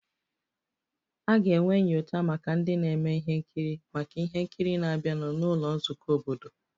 A ga-enwe nyocha maka ndị na-eme ihe nkiri maka ihe nkiri na-abịanụ n'ụlọ nzukọ obodo